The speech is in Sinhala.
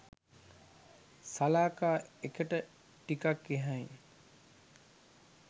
සලාකා එකට ටිකක්‌ එහායින්